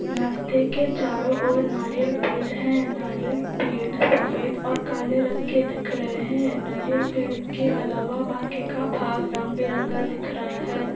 रस्ते के चारो ओर नारियल पेड़ है नारियल पेड़ सफ़ेद और काले रंग के दिखरहे है नारियल पेड़ के अलावा बाकी का भाग रंगबिरंगी दिखरहा है.